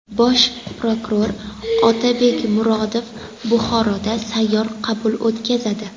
Bosh prokuror Otabek Murodov Buxoroda sayyor qabul o‘tkazadi.